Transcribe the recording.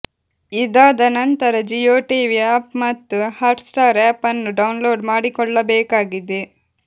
ಇದಾದ ನಂತರ Jio TV app ಮತ್ತು ಹಾಟ್ ಸ್ಟಾರ್ ಆಪ್ ಅನ್ನು ಡೌನ್ಲೋಡ್ ಮಾಡಿಕೊಳ್ಳಬೇಕಾಗಿದೆ